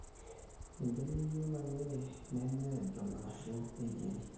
embeneyio nanyorri nenyai ejon aashu eyierri